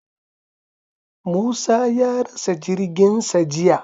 Musa ya rasa jirginsa jiya.